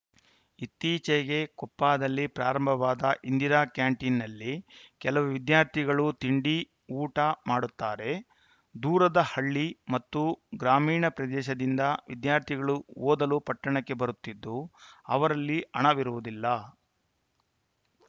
ಇತ್ತೀಚೆಗೆ ಕೊಪ್ಪದಲ್ಲಿ ಪ್ರಾರಂಭವಾದ ಇಂದಿರಾ ಕ್ಯಾಂಟೀನ್‌ನಲ್ಲಿ ಕೆಲವು ವಿದ್ಯಾರ್ಥಿಗಳು ತಿಂಡಿ ಊಟ ಮಾಡುತ್ತಾರೆ ದೂರದ ಹಳ್ಳಿ ಮತ್ತು ಗ್ರಾಮೀಣ ಪ್ರದೇಶದಿಂದ ವಿದ್ಯಾರ್ಥಿಗಳು ಓದಲು ಪಟ್ಟಣಕ್ಕೆ ಬರುತ್ತಿದ್ದು ಅವರಲ್ಲಿ ಹಣವಿರುವುದಿಲ್ಲ